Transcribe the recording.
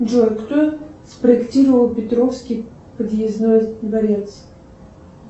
джой кто спроектировал петровский подъездной дворец